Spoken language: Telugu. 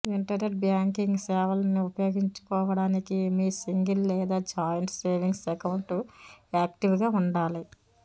ఇంటర్నెట్ బ్యాంకింగ్ సేవల్ని ఉపయోగించుకోవడానికి మీ సింగిల్ లేదా జాయింట్ సేవింగ్స్ అకౌంట్ యాక్టీవ్గా ఉండాలి